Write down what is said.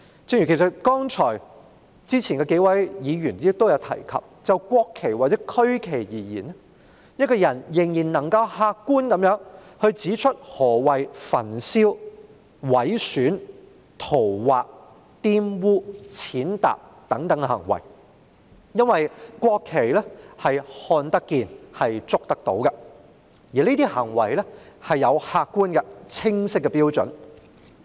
正如之前數位議員亦有提及，就國旗或區旗而言，我們仍能客觀地指出何謂焚燒、毀損、塗劃、玷污、踐踏等行為，因為國旗看得見、觸得到，而這些行為有客觀而清晰的標準。